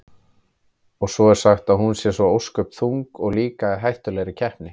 Og svo er sagt að hún sé svo ósköp þung og líka í hættulegri kreppu.